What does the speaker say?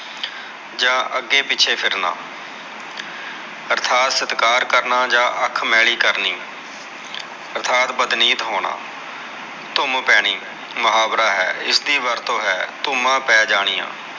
ਜਾ ਅਗੇ ਪਿਛੇ ਫਿਰਨਾ ਅਰਥਾਤ ਸਤਕਾਰ ਕਰਨਾ ਜਾ ਅਖ ਮੈਲੀ ਕਰਨੀ ਅਰਥਾਤ ਬਦਨੀਤ ਹੋਨਾ ਧੂਮ ਪੈਣੀ ਮੁਹਾਵਰਾ ਹੈ ਇਸਦੀ ਵਰਤੋ ਹੈ ਧੁਮਾ ਪੈ ਜਾਨੀਆ